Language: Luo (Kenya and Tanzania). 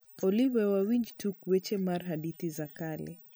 olly we wawinj tuk weche mar hadithi za kale